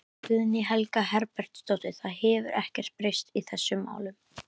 Guðný Helga Herbertsdóttir: Það hefur ekkert breyst í þessum málum?